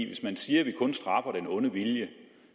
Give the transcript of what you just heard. hvis man siger at vi kun straffer den onde vilje